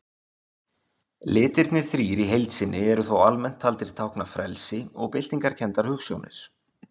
Litirnir þrír í heild sinni eru þó almennt taldir tákna frelsi og byltingarkenndar hugsjónir.